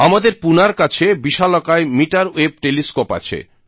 আমাদের পুনার কাছে বিশালকায় মিটার ওয়েভ টেলিস্কোপ আছে